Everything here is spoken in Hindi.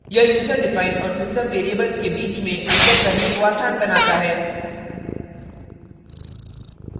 * यह यूज़र डिफाइंड और system variables के बीच में अंतर करने को आसान बनाता है